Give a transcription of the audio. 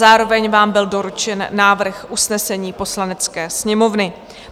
Zároveň vám byl doručen návrh usnesení Poslanecké sněmovny.